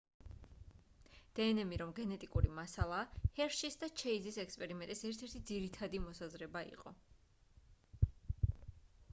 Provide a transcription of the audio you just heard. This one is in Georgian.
დნმ რომ გენეტიკური მასალაა ჰერშის და ჩეიზის ექსპერიმენტის ერთ-ერთი ძირითადი მოსაზრება იყო